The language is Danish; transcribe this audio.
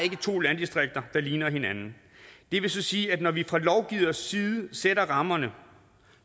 to landdistrikter der ligner hinanden det vil så sige at når vi fra lovgivers side sætter rammerne